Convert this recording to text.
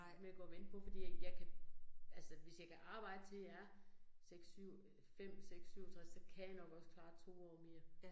Med at gå at vente på fordi at jeg kan altså, hvis jeg kan arbejde til jeg er 6 7 øh 5 6 67 så kan jeg nok også klare 2 år mere